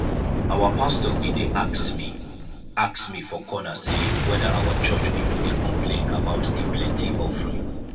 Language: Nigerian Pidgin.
our pastor bin dey ask me ask me for corner say whether our church people dey complain about the plenty offering